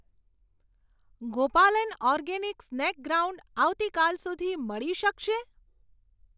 Gopalan organic snack ground આવતીકાલ સુધી મળી શકશે?